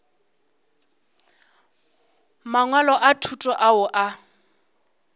mangwalo a thuto ao a